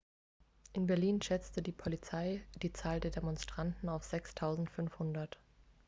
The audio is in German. in berlin schätzte die polizei die zahl der demonstranten auf 6.500